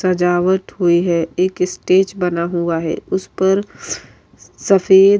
سجاوٹ ہوئی ہے ایک اسٹیج بنا ہا ہے اس پر سفید --